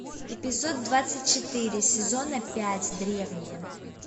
эпизод двадцать четыре сезона пять древние